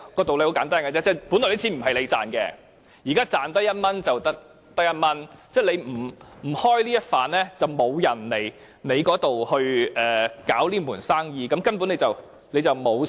道理很簡單，那些錢本來不是你賺到的，現在是賺到1元就得到1元，你不提供優惠，就沒有人在這裏經營這門生意，而你根本不會虧蝕。